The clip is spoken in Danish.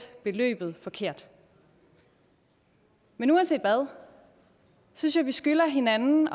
beløbet forkert men uanset hvad synes jeg vi skylder hinanden